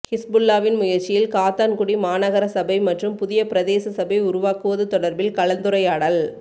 ஹிஸ்புல்லாஹ்வின் முயற்சியில் காத்தான்குடி மாநகர சபை மற்றும் புதிய பிரதேச சபை உருவாக்குவது தொடர்பில் கலந்துரையாடல்